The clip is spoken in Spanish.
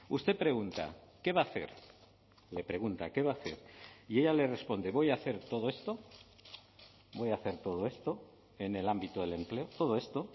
usted pregunta qué va a hacer le pregunta qué va a hacer y ella le responde voy a hacer todo esto voy a hacer todo esto en el ámbito del empleo todo esto